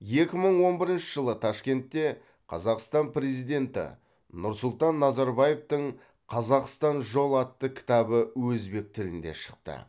екі мың он бірінші жылы ташкентте қазақстан президенті нұрсұлтан назарбаевтың қазақстан жол атты кітабы өзбек тілінде шықты